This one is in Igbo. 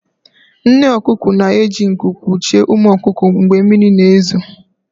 Nne ọkụkọ na-eji nku kpuchie ụmụ ọkụkọ mgbe mmiri na-ezo